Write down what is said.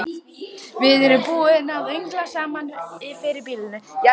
Við erum búin að öngla saman fyrir býlinu.